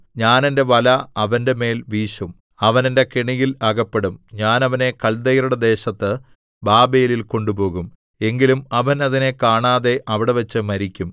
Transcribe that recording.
ഞാൻ എന്റെ വല അവന്റെമേൽ വീശും അവൻ എന്റെ കെണിയിൽ അകപ്പെടും ഞാൻ അവനെ കല്ദയരുടെ ദേശത്ത് ബാബേലിൽ കൊണ്ടുപോകും എങ്കിലും അവൻ അതിനെ കാണാതെ അവിടെവച്ച് മരിക്കും